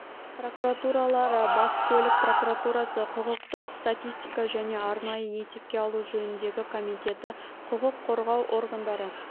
прокуратуралары бас көлік прокуратурасы құқықтық статистика және арнайы есепке алу жөніндегі комитеті құқық қорғау органдары